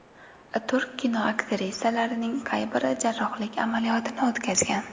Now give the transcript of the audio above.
Turk kino aktrisalarining qay biri jarrohlik amaliyotini o‘tkazgan?